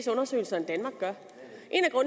undersøgelser end danmark gør